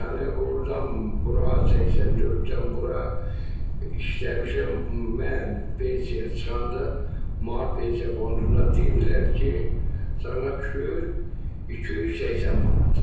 Yəni ordan bura 84-dən bura işləmişəm, mən pensiyaya çıxanda, pensiya fondunda dedilər ki, sənə düşür 280 manat.